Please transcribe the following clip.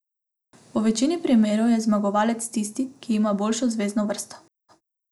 V večini primerov je zmagovalec tisti, ki ima boljšo zvezno vrsto.